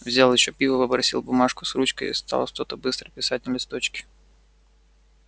взял ещё пива попросил бумажку с ручкой и стал что-то быстро писать на листочке